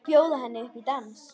Bjóða henni upp í dans!